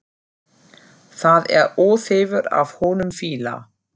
Það er óþefur af honum fýla!